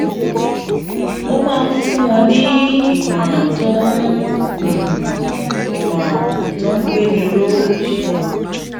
um ó máa ń fún wọn ní ìmòràn tó ń ìmòràn tó ń gbéni ró